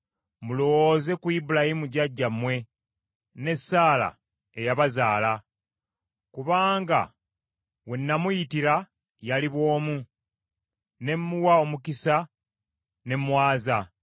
Mulowooze ku Ibulayimu jjajjammwe ne Saala eyabazaala. Kubanga we namuyitira yali bw’omu ne mmuwa omukisa ne mmwaza.